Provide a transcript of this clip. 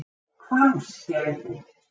Hvammsgerði